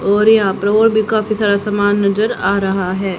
और यहां पे और भी काफी सारा सामान नजर आ रहा है।